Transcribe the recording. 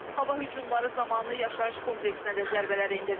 Hava hücumları zamanı yaşayış kompleksinə də zərbələr endirilib.